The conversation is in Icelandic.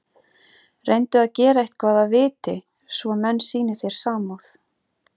Reyndu að gera eitthvað að viti, svo menn sýni þér samúð.